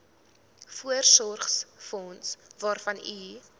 voorsorgsfonds waarvan u